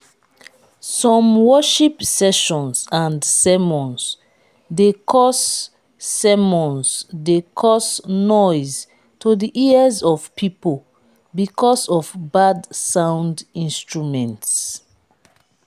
some worship sessions and sermons de cause sermons de cause noise to the ears of pipo because of bad sound instruments